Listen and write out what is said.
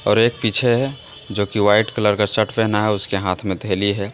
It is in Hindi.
और एक पीछे है जोकि वाइट कलर का शर्ट पहना है उसके हाथ में थैली है।